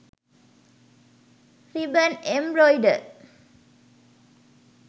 ribbon embroider